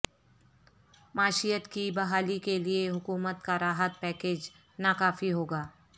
معیشت کی بحالی کیلئےحکومت کا راحت پیکیج ناکافی ہوگا